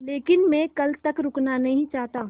लेकिन मैं कल तक रुकना नहीं चाहता